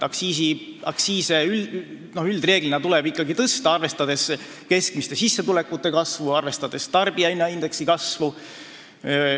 Üldreeglina tuleb aktsiise ikkagi tõsta, arvestades keskmiste sissetulekute ja tarbijahinnaindeksi kasvu.